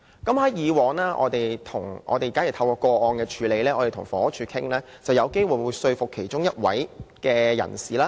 在處理個案的過程中，我們與房屋署商討，有機會能說服其中一方遷出。